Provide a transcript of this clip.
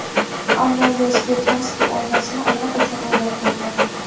ammo yozgi transfer oynasini allaqachon o‘ylab qo‘ygan.